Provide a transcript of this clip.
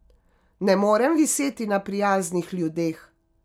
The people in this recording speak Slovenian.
Ne morem viseti na prijaznih ljudeh.